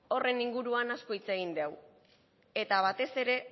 horren inguruan asko hitz egin dugu eta batez ere